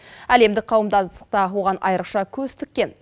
әлемдік қауымдастық та оған айрықша көз тіккен